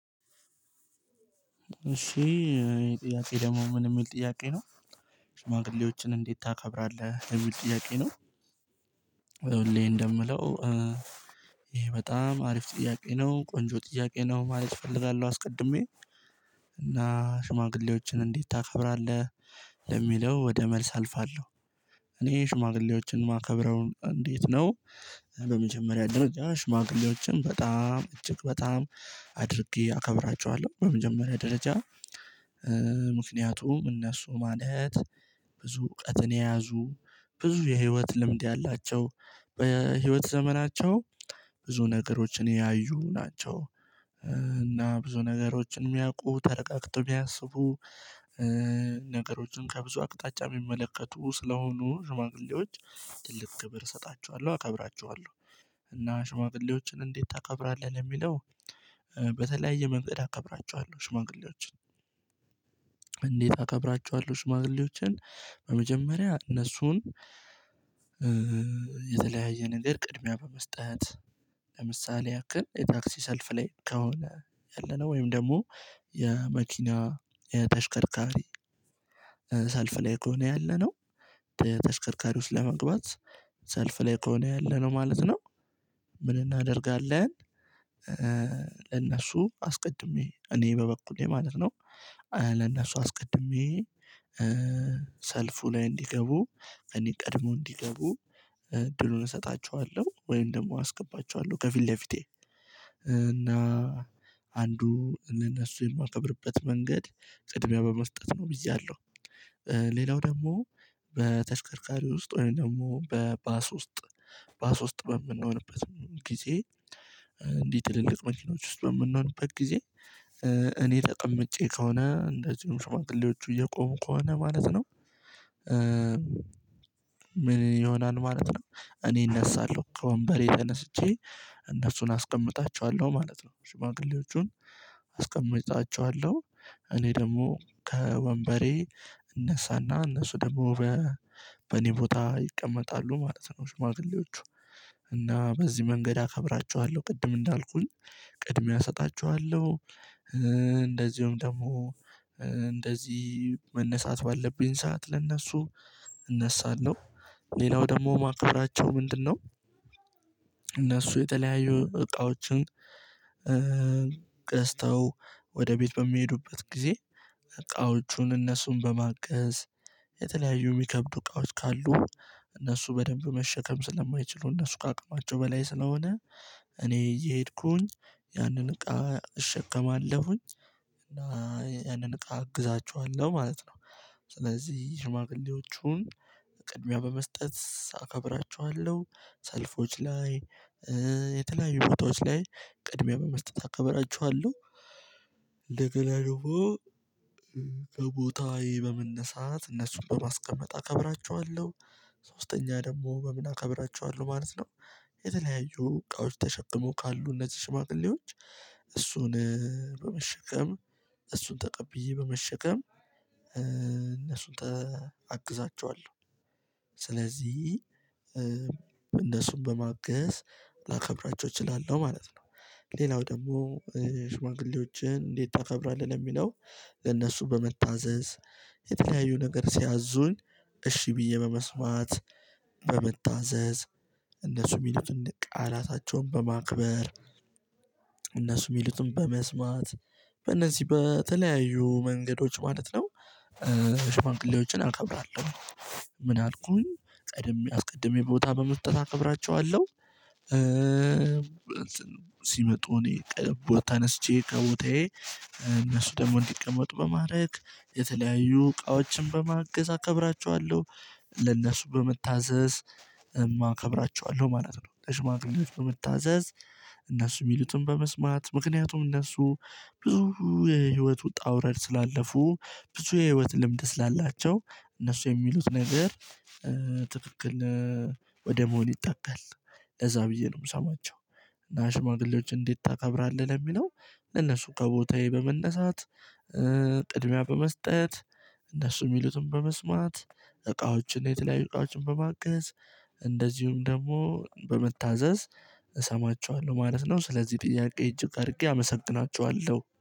እሺ ጥያቄ ደግሞ ምን የሚል ጥያቄ ነው። ሽማግሌዎችን እንዴት ታከብራለህ የሚል ጥያቄ ነው። ሁሌ እንደምለው ይሄ በጣም አሪፍ ጥያቄ ነው ቆንጆ ጥያቄ ነው ማለት እፈልጋለሁ አስቀድሜ እና ሽማግሌዎችን እንዴት ታከብራለህ ለሚለው ወደ መልስ አልፋለሁ። እኔ ሽማግሌዎችን የማከብረው እንዴት ነው? በመጀመሪያ ደረጃ ሽማግሌዎችን በጣም እጅግ በጣም አድርጌ አከብራቸዋለሁ በመጀመሪያ ደረጃ። ምክንያቱም እነሱ ማለት ብዙ እውቀትን የያዙ ብዙ የህይወት ልምድ ያላቸው በህይወት ዘመናቸው ብዙ ነገሮችን ያዩ ናቸው። እና ብዙ ነገሮችን የሚያውቁ ተረጋግተው የሚያስቡ ነገሮችን ከብዙ አቅጣጫ የሚመለከቱ ስለሆኑ ሽማግሌዎች ትልቅ ክብር እሰጣቸዋለሁ አከብራቸዋለሁ። እና ሽማግሌዎችን እንዴት ታከብራለህ ለሚለው በተለያየ መንገድ አቀብራችኋለሁ ሽማግሌዎችን። እንዴት አከብራችኋለሁ ሽማግሌዎችን በመጀመሪያ እነሱን። የተለያየ ነገር ቅድሚያ በመስጠት ለምሳሌ ያክል የታክሲ ሰልፍ ላይ ከሆነ ያለነው ወይም ደግሞ የመኪና የተሽከርካሪ ሰልፍ ላይ ከሆነ ያለነው ተሽከርካሪ ውስጥ ለመግባት ሰልፍ ላይ ከሆነ ያለነው ማለት ነው። ምን እናደርጋለን ለነሱ አስቀድሜ እኔ በበኩሌ ማለት ነው። ለነሱ አስቀድሜ ሰልፉ ላይ እንዲገቡ እኔ ቀድሞ እንዲገቡ እድሉን እሰጣችኋለሁ ወይም ደግሞ አስገባችኋለሁ ከፊት ለፊቴ። እና አንዱ ለነሱ የማከብርበት መንገድ ቅድሚያ በመስጠት ነው ብዬ አምናለሁ። ሌላው ደግሞ በተሽከርካሪ ውስጥ ወይም ደግሞ በባስ ውስጥ ባስ ውስጥ በምንሆንበት ጊዜ እንዲህ ትልልቅ መኪኖች ውስጥ በምንሆንበት ጊዜ እኔ ተቀምጬ ከሆነ እንደዚሁም ሽማግሌዎቹ እየቆሙ ከሆነ ማለት ነው። ምን ይሆናል ማለት ነው። እኔ እነሳለሁ ከወንበሬ ለነስቼ እነሱን አስቀምጣቸዋለሁ ማለት ነው ሽማግሌዎቹን አስቀምጣቸዋለሁ። እኔ ደግሞ ከወንበሬ እነሳና እነሱ ደግሞ በእኔ ቦታ ይቀመጣሉ ማለት ነው ሽማግሌዎቹ። በዚህ መንገድ አከብራችኋለሁ ቅድም እንዳልኩኝ ቅድሚያ እሰጣችኋለሁ። እንደዚሁም ደግሞ እንደዚህ መነሳት ባለብኝ ሰዓት ለእነሱ እነሳለሁ ሌላው ደግሞ ማከብራቸው ምንድነው? እነሱ የተለያዩ እቃዎችን ገዝተው ወደ ቤት በሚሄዱበት ጊዜ እቃዎቹን እነሱን በማገዝ የተለያዩ የሚከብዱ እቃዎች ካሉ እነሱ በደንብ መሸከም ስለማይችሉ እነሱ ከአቅማቸው በላይ ስለሆነ እኔ እየሄድኩኝ ያንን እቃ እሸከማለሁኝ እና ያንን እቃ አግዛችኋለሁ ማለት ነው። ስለዚህ ሽማግሌዎቹን ቅድሚያ በመስጠት አከብራችኋለሁ ሰልፎች ላይ የተለያዩ ቦታዎች ላይ ቅድሚያ በመስጠት አከበራችኋለሁ። እንደገና ደግሞ ከቦታዬ በመነሳት እነሱን በማስቀመጥ አከብራቸዋለሁ። ሶስተኛ ደግሞ በምን አከብራቸዋለሁ ማለት ነው? የተለያዩ እቃዎች ተሸክመው ካሉ እነዚህ ሽማግሌዎች እሱን በመሸከም እሱን ተቀብዬ በመሸከም እነሱን አግዛቸዋለሁ። ስለዚህ እነሱን በማገዝ ላከብራቸው እችላለሁ ማለት ነው። ሌላው ደግሞ ሽማግሌዎችን እንዴት ታከብራለህ ለሚለው? እነሱን በመታዘዝ የተለያዩ ነገር ሲያዙኝ እሺ ብዬ በመስማት በመታዘዝ እነሱ የሚሉትን ቃላታቸውን በማክበር እነሱ የሚሉትን በመስማት በእነዚህ በተለያዩ መንገዶች ማለት ነው። ሽማግሌዎችን አከብራለሁ። ምን አልኩኝ ቀድሜ አስቀድሜ ቦታ በመስጠት አከብራቸዋለሁ። ሲመጡ እኔ ቦታ ተነስቼ ከቦታዬ እነሱ ደግሞ እንዲቀመጡ በማድረግ የተለያዩ እቃዎችን በማገዝ አከብራቸዋለሁ። ለነሱ በመታዘዝ እከብራቸዋለሁ ማለት ነው። ለሽማግሌዎች በመታዘዝ እነሱ የሚሉትን በመስማት ምክንያቱም እነሱ ብዙ የህይወት ውጣ ውረድ ስላለፉ ብዙ የህይወት ልምድ ስላላቸው እነሱ የሚሉት ነገር ትክክል ወደ መሆን ይጠጋል ለዛ ብዬ ነው የምሰማቸው። እና ሽማግሌዎች እንዴት ታከብራለህ ለሚለው? ለነሱ ከቦታዬ በመነሳት ቅድሚያ በመስጠት እነሱ የሚሉትን በመስማት እቃዎችን የተለያዩ እቃዎችን በማገዝ እንደዚሁም ደግሞ በመታዛዝ እሰማችኋለሁ ማለት ነው። ስለዚህ ጥያቄ እጅግ አድርጌ አመሰግናችኋለሁ